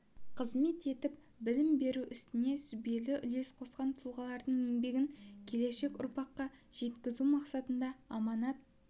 қызмет етіп білім беру ісіне сүбелі үлес қосқан тұлғалардың еңбегін келешек ұрпаққа жеткізу мақсатында аманат